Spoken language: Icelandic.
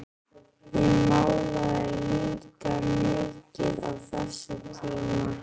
Ég málaði líka mikið á þessum tíma.